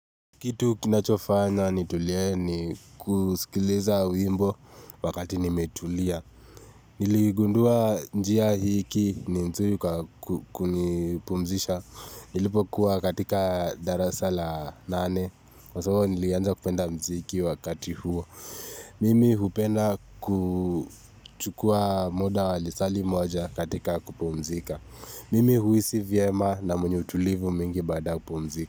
Kitu kinachofanya nitulie ni kusikiliza wimbo wakati nimetulia. Niligundua njia hiki ni nzuri kukunipumzisha. Nilipokuwa katika darasa la nane. Kwa sababu nilianza kupenda mziki wakati huo. Mimi hupenda kuchukua muda wa lisali moja katika kupumzika. Mimi huisi vyema na mwenye utulivu mingi baada ya kupumzika.